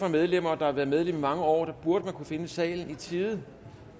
medlemmer der har været medlem i mange år burde kunne finde salen i tide